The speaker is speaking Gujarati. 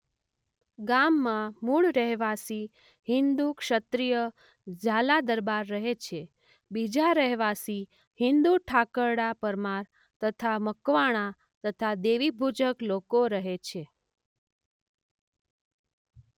ગામ માં મુળ રહેવાસી હિંદુ ક્ષત્રિય ઝાલા દરબાર રહે છે બીજા રહેવાસી હિંદુ ઠાકરડા પરમાર તથા મકવાણા તથા દેવીપૂજક લોકો રહે છે.